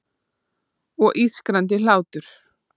Og ískrandi hlátur.